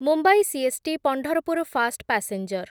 Mumbai CST Pandharpur fast passenger